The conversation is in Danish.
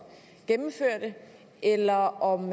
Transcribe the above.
gennemførte eller om